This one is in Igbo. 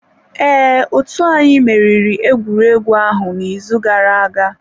Ee, otú anyị meriri egwuregwu ahụ n'izu gara aga.